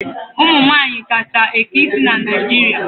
Ụmụ nwaanyị kacha eke isi na Naijiria.